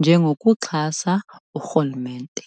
njengokuxhasa urhulumente.